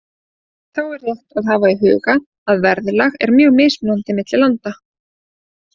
Þá er rétt að hafa í huga að verðlag er mjög mismunandi milli landa.